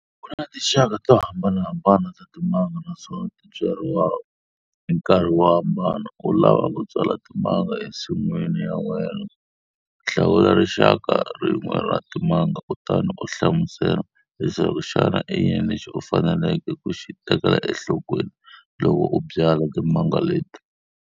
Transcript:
Kuna tinxaka to hambanahambana ta timanga naswona ti byariwa hi nkarhi wo hambana. U lava ku byala timanga ensin'wini ya wena. Hlawula rinxaka rin'we ra timanga kutani u hlamusela leswaku xana i yini lexi u faneleke ku xi tekela enhlokweni loko u byala timanga leti.